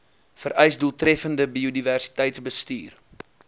vereis doeltreffende biodiversiteitsbestuur